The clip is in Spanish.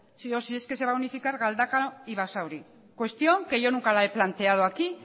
si es que se va a unificar galdakao y basauri cuestión que yo nunca la he planteado aquí